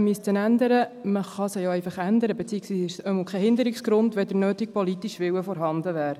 Man kann sie ja auch einfach ändern, beziehungsweise ist es doch kein Hinderungsgrund, wenn der nötige politische Wille vorhanden wäre.